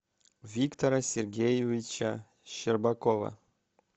виктора сергеевича щербакова